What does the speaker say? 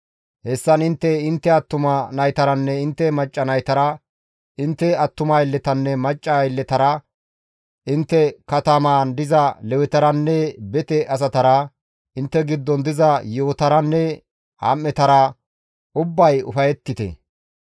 Hessan intte, intte attuma naytaranne intte macca naytara, intte attuma aylletanne macca aylletara, intte katamaan diza Lewetaranne bete asatara, intte giddon diza yi7otaranne am7etara ubbay ufayettite.